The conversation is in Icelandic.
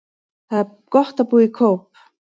Það er gott að búa í Kóp.